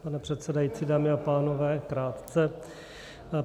Pane předsedající, dámy a pánové, krátce.